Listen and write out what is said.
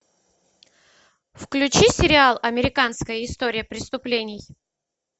включи сериал американская история преступлений